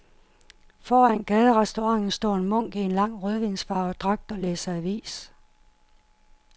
Foran gaderestauranten står en munk i en lang rødvinsfarvet dragt og læser avis.